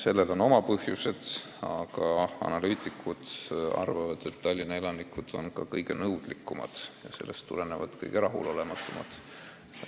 Samas arvavad analüütikud ka seda, et Tallinna elanikud on kõige nõudlikumad ja seetõttu ka kõige rahulolematumad.